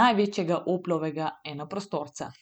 največjega Oplovega enoprostorca.